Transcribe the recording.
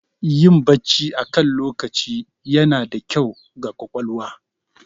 Yin Bacci akan lokaci yana da kyau ga ƙwaƙwalwa